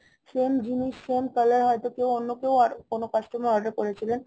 same জিনিস same color হয়তো কেউ অন্যকেউ কোনো customer order করেছিলেন